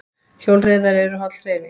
Hjólreiðar eru holl hreyfing